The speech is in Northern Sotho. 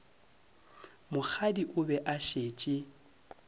mokgadi o be a šetše